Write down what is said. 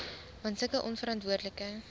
want sulke onverantwoordelike